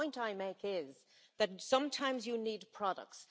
The point I make is that sometimes you need products.